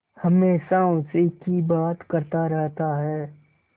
हमेशा उसी की बात करता रहता है